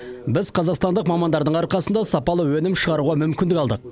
біз қазақстандық мамандардың арқасында сапалы өнім шығаруға мүмкіндік алдық